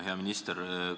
Hea minister!